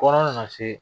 Kɔnɔ nana se